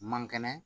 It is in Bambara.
Mankɛnɛ